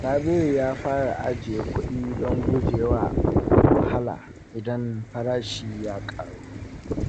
Sabiru ya fara ajiye kuɗi don guje wa wahala idan farashi ya ƙaru.